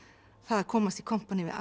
að komast í kompaní við